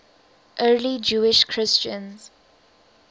early jewish christians